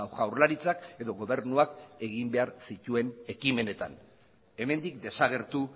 jaurlaritzak edo gobernuak egin behar zituen ekimenetan hemendik desagertu